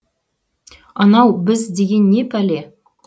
анау біз деген не пәле